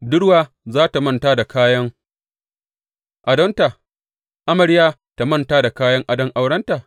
Budurwa za tă manta da kayan adonta amarya ta manta da kayan adon aurenta?